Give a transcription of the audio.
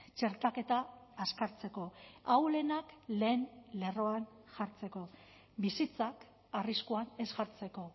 txertaketa azkartzeko ahulenak lehen lerroan jartzeko bizitzak arriskuan ez jartzeko